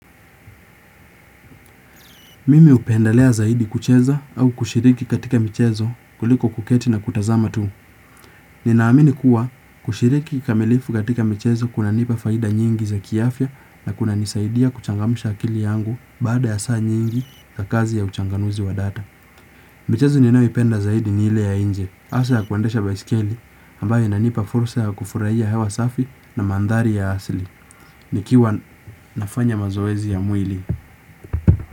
Mimi hupendelea zaidi kucheza au kushiriki katika michezo kuliko kuketi na kutazama tu. Ninaamini kuwa kushiriki kamilifu katika mchezo kunanipa faida nyingi za kiafya na kunanisaidia kuchangamsha akili yangu baada ya saa nyingi za kazi ya uchanganuzi wa data. Michezo ninayoipenda zaidi ile ya nje. Hasa ya kuendesha baiskeli ambayo inanipa fursa ya kufurahia hewa safi na mandhari ya asili. Nikiwa nafanya mazoezi ya mwili.